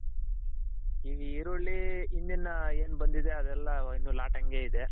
ಈಗ್ ಈರುಳ್ಳಿ ಹಿಂದಿನ ಏನ್ ಬಂದಿದೆ ಅದೆಲ್ಲ ಇನ್ನು ಲಾಟ್ ಹಂಗೆ ಇದೆ.